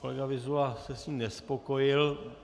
Kolega Vyzula se s ním nespokojil.